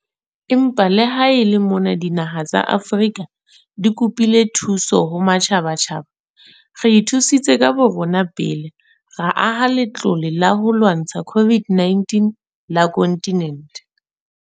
Empa le ha e le mona dinaha tsa Afrika di kopile thuso ho matjhabatjhaba, re ithusitse ka borona pele ra aha Latlole la ho lwantsha COVID-19 la kontinente.